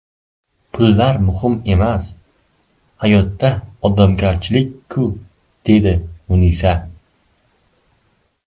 Pullar muhim emas hayotda, odamgarchilik-ku, dedi Munisa.